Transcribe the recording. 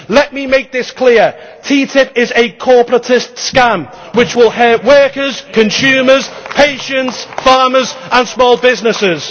Let me make this clear TTIP is a corporatist scam which will hurt workers, consumers, pensions, farmers and small businesses.